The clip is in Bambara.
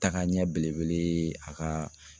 Taaga ɲɛ belebele ye a ka